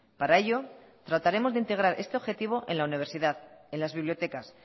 para ello trataremos de integrar este objetivo en la universidad en las bibliotecas